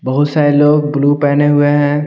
बहुत सारे लोग ब्लू पहने हुए हैं।